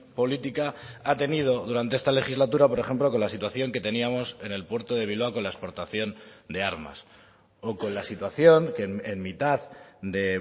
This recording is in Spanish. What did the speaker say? política ha tenido durante esta legislatura por ejemplo con la situación que teníamos en el puerto de bilbao con la exportación de armas o con la situación en mitad de